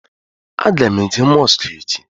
A ga m eje mosku echi